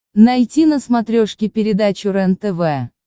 найти на смотрешке передачу рентв